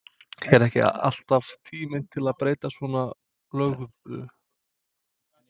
Er ekki alltaf tími til að breyta svona löguðu?